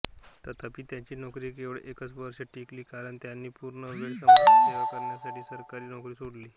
तथापि त्यांची नोकरी केवळ एकच वर्ष टिकली कारण त्यांनी पूर्णवेळ समाजसेवा करण्यासाठी सरकारी नोकरी सोडली